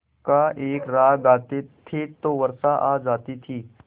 का एक राग गाते थे तो वर्षा आ जाती थी